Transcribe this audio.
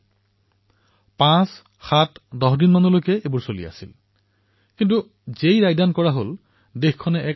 কিন্তু এই সকলোবোৰ পাঁচ দিন সাত দিন দহ দিন ধৰি চলিল আৰু যেতিয়াই ৰায়দান দিয়া হল তেতিয়া এক আনন্দদায়ক আশ্বৰ্যজনক পৰিৱৰ্তন দেশে অনুভূত কৰিলে